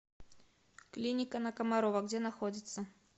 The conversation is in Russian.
клиника на комарова где находится